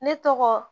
Ne tɔgɔ